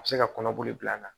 A bɛ se ka kɔnɔboli bila an na